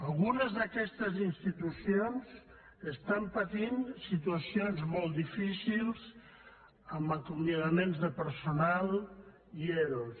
algunes d’aquestes institucions estan patint situacions molt difícils amb acomiadaments de personal i ero